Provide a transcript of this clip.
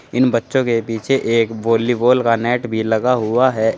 इन बच्चों के पीछे एक वॉलीबॉल का नेट भी लगा हुआ है।